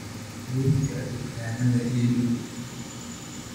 liiska dukaamada ii dhow